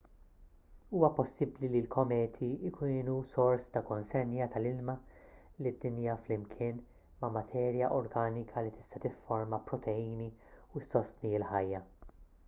huwa possibbli li l-kometi kienu sors ta' konsenja tal-ilma lid-dinja flimkien ma' materja organika li tista' tifforma proteini u ssostni l-ħajja